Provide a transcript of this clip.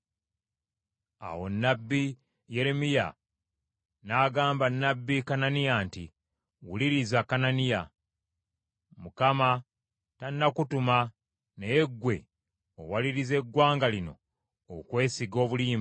Awo nnabbi Yeremiya n’agamba nnabbi Kananiya nti, “Wuliriza, Kananiya! Mukama tannakutuma naye ggwe owalirizza eggwanga lino okwesiga obulimba.